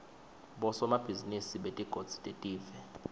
bosomabhizinisi betigodzi telive